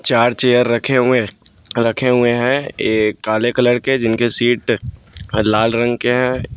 चार चेयर रखे हुए रखे हुए हैं ये काले कलर के जिनके सीट लाल रंग के हैं।